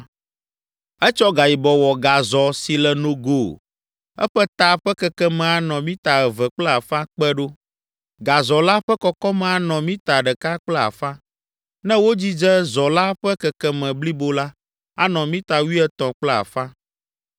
Etsɔ gayibɔ wɔ gazɔ si le nogo, eƒe ta ƒe kekeme anɔ mita eve kple afã kpe ɖo, gazɔ la ƒe kɔkɔme anɔ mita ɖeka kple afã. Ne wodzidze zɔ la ƒe kekeme blibo la, anɔ mita wuietɔ̃ kple afã.